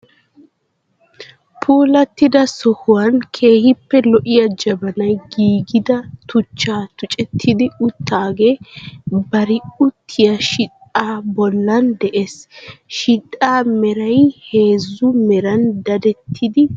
Puulattida sohuwa keehippe lo'iya jabanay giigida tuchchaa tucettidi uttaagee bari uttiyi shichchaa bollan de'ees. Shidhdhaa meray heezzu meran dadettidi giigiis.